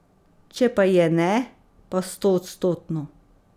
Če pa je ne, pa stoodstotno.